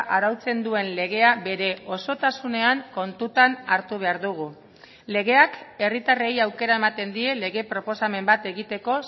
arautzen duen legea bere osotasunean kontutan hartu behar dugu legeak herritarrei aukera ematen die lege proposamen bat egiteko